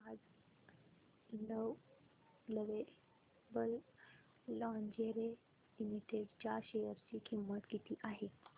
आज lovable lingerie limited च्या share ची किंमत किती आहे